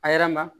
A yɛrɛ ma